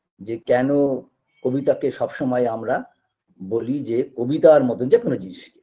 যে কেন কবিতাকে সবসময় আমরা বলি যে কবিতার মত যে কোন জিনিসকে